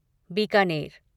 Bikaner